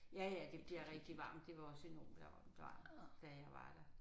Ja ja det bliver rigtig varmt det var også enormt varmt da jeg var der